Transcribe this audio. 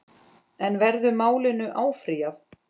En verður málinu áfrýjað?